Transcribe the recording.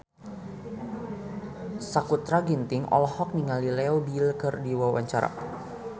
Sakutra Ginting olohok ningali Leo Bill keur diwawancara